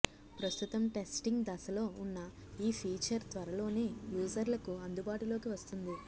ప్రస్తుతం టెస్టింగ్ దశలో ఉన్న ఈ ఫీచర్ తర్వలోనే యూజర్లకు అందుబాటులోకి వస్తుంది